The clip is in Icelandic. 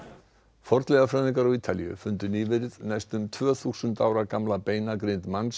fornleifafræðingar á Ítalíu fundu nýverið næstum tvö þúsund ára gamla beingrind manns